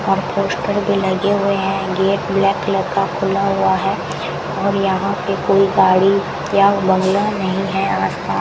और पोस्टर भी लगे हुए हैं गेट ब्लैक कलर का खुला हुआ है और यहां पे कोई गाड़ी या बंगला नहीं है आसपास।